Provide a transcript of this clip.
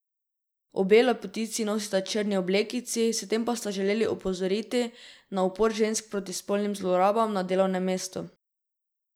Obe lepotici nosita črni oblekici, s tem pa sta želeli opozoriti na upor žensk proti spolnim zlorabam na delovnem mestu.